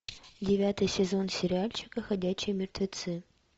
девятый сезон сериальчика ходячие мертвецы